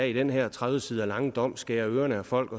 i den her tredive sider lange dom skærer ørerne af folk